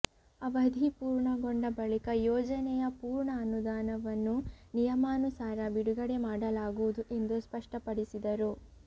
ಅವಧಿ ಪೂರ್ಣಗೊಂಡ ಬಳಿಕ ಯೋಜನೆಯ ಪೂರ್ಣ ಅನುದಾನವನ್ನು ನಿಯಮಾನುಸಾರ ಬಿಡುಗಡೆ ಮಾಡಲಾಗುವುದು ಎಂದು ಸ್ಪಷ್ಟಪಡಿಸಿದರು